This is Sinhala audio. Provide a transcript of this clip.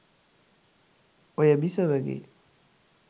ඔය බිසවගේ